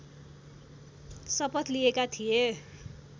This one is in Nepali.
शपथ लिएका थिए